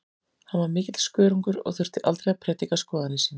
Hann var mikill skörungur og þurfti aldrei að prédika skoðanir sínar.